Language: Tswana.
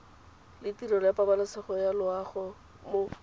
letirelo ya pabalesego loago mo